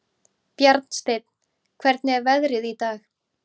Bjarnsteinn, hvernig er veðrið í dag?